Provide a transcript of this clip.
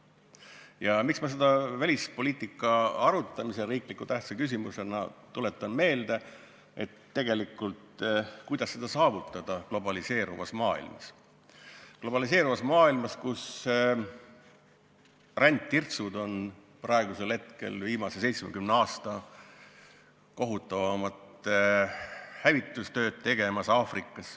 Põhjus, miks ma seda välispoliitika arutelul meelde tuletan, on tegelikult see, et tekib küsimus, kuidas seda eesmärki saavutada globaliseeruvas maailmas – globaliseeruvas maailmas, kus rändtirtsud on Aafrikas tegemas viimase 70 aasta kohutavaimat hävitustööd.